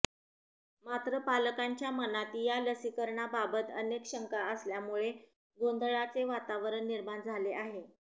मात्र पालकांच्या मनात या लसीकरणाबाबत अनेक शंका असल्यामुळे गोंधळाचे वातावरण निर्माण झाले आहे